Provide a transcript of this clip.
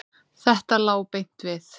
Þetta lá beint við.